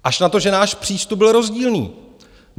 Až na to, že náš přístup byl rozdílný.